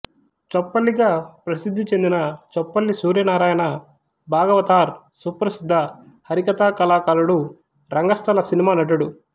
చొప్పల్లి గా ప్రసిద్ధిచెందిన చొప్పల్లి సూర్యనారాయణ భాగవతార్ సుప్రసిద్ధ హరికథా కళాకారుడు రంగస్థల సినిమా నటుడు